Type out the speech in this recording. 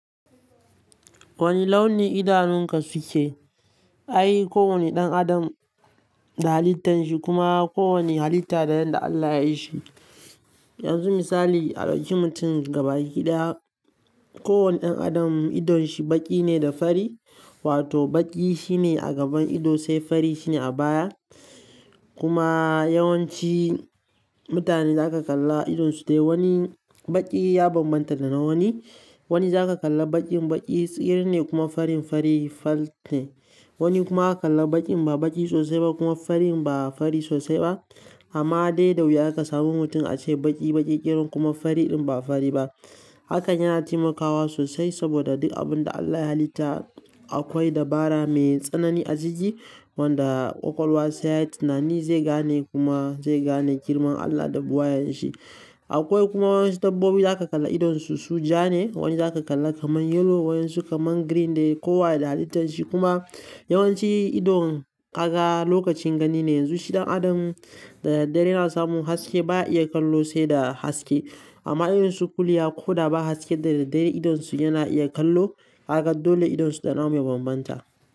Wane launi idanunka suke? Ai kowane ɗan adam da halittan shi kuma kowane halitta da yadda Allah yayi shi. Yanzu misali a ɗauki mutum gabaki daya. Kowane ɗan adam idon shi baƙi ne da fari wato baƙi shine a gaban ido sai fari shine a baya. Kuma yawanci mutane za ka kalla idon su dai wani baƙi ya bambanta da na wani. Wani za ka kalla baƙin baƙi tsiri ne kuma fari fari fat ne. Wani kuma ka kalla baƙin ba baƙi sosai ba kuma fari ba fari sosai ba. Amma dai da wuya ka samu mutum ace baƙi baƙi ƙirin kuma fari ɗin ba fari ba. Haka yana taimakawa sosai saboda duk abun da Allah ya halitta akwai dabara mai tsanani a ciki wanda ƙwaƙwalwa sai ya yi tunani zai gane kuma zai gane girman Allah da buwayan shi. Akwai kuma waɗansu dabbobi da zaka kalla idon su, su ja ne, waɗansu aka kalla kaman yellow, waɗansu kaman green dai kowa da halittan shi. Kuma yawanci ido kaga lokacin gani ne. Yanzu shi ɗan adam da daddare yana samun haske ba ya iya kallo sai da haske. Amma idonsu kuliya ko da ba haske da daddare idon su yana iya kallo. Kaga dole idonsu da namu ya bambanta.